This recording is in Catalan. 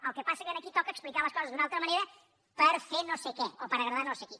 el que passa és que aquí toca explicar les coses d’una altra manera per fer no sé què o per agradar a no sé qui